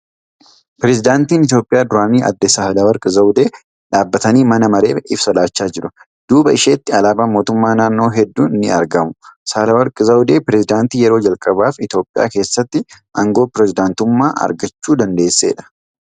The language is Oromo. Pireezidaantiin Itiyoophiyaa duraanii adde Saahila warqi Zawudee dhaabbatanii mana mareef ibsa laachaa jiru . Duuba isheetti alaabaan mootummaan naannoo hedduun ni argamu. Saahilawarqi Zawudee pireezidaantii yeroo jalqabaaf Itiyoophiyaa keessaatti aangoo pireezidaantummaa argachuu dandeesseedha.